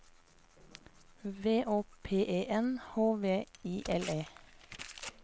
V Å P E N H V I L E